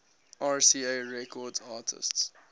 rca records artists